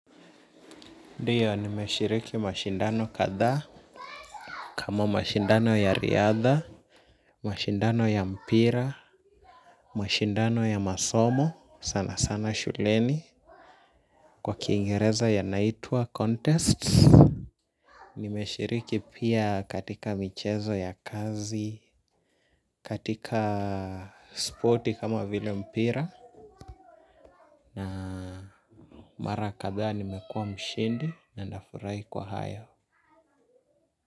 Ndiyo nimeshiriki mashindano kadhaa kama mashindano ya riadha mashindano ya mpira mashindano ya masomo sana sana shuleni. Kwa kingereza yanaitwa contest. Nimeshiriki pia katika michezo ya kazi. Katika spoti kama vile mpira na mara kadhaa nimekua mshindi na nafurahi kwa hayo.